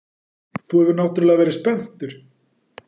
Þú hefur náttúrlega verið spenntur.